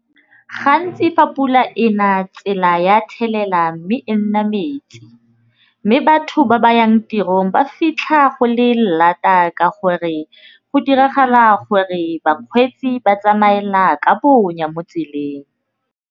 Gantsi fa pula e na tsela ya thelela mme e nna metsi, mme batho ba ba yang tirong ba fitlha go le lata ka gore go diragala gore bakgweetsi ba tsamaela ka bonya mo tseleng.